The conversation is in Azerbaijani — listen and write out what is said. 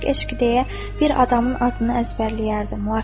Eşq-eşq deyə bir adamın adını əzbərləyərdim.